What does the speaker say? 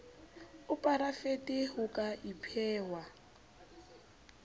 a porafete ho ka ipehwa